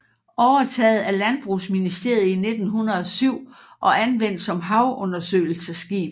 Overtaget af Landbrugsministeriet i 1907 og anvendt som havundersøgelsesskib